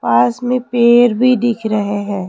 पास में पेर भी दिख रहे हैं।